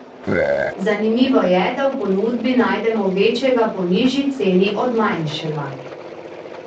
Zanimivo je, da v ponudbi najdemo večjega po nižji ceni od manjšega.